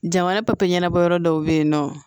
Jamana papiye ɲɛnabɔyɔrɔ dɔw bɛ yen nɔ